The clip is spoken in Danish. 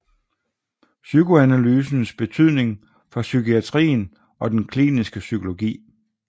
PSYKOANALYSENS BETYDNING FOR PSYKIATRIEN OG DEN KLINISKE PSYKOLOGI